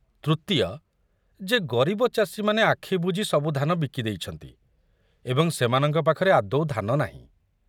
ତୃତୀୟ, ଯେ ଗରିବ ଚାଷୀମାନେ ଆଖୁ ବୁଢି ସବୁ ଧାନ ବିକି ଦେଇଛନ୍ତି ଏବଂ ସେମାନଙ୍କ ପାଖରେ ଆଦୌ ଧାନ ନାହିଁ।